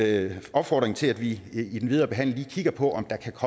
opfordring til at vi i den videre behandling lige kigger på om der kan